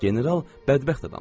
General bədbəxt adamdır.